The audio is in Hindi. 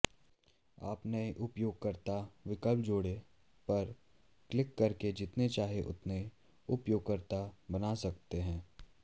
आप नए उपयोगकर्ता विकल्प जोड़ें पर क्लिक करके जितने चाहें उतने उपयोगकर्ता बना सकते हैं